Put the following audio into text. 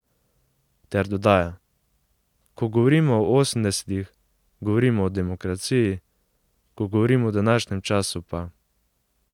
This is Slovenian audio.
Ter dodaja: 'Ko govorim o osemdesetih, govorim o demokraciji, ko govorim o današnjem času pa ...